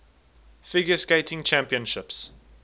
figure skating championships